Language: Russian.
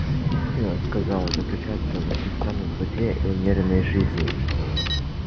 истина сказал он заключается в непрестанном труде и умеренной жизни